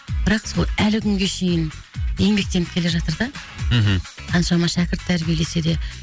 бірақ сол әлі күнге шейін еңбектеніп келе жатыр да мхм қаншама шәкірт тәрбиелесе де